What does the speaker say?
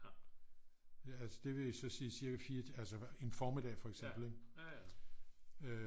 Ja det vil så sige cirka 4 altså en formiddag for eksempel